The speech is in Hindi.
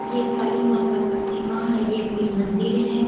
ये काली माँ का प्रतिमा है ये कोई मंदिर है ।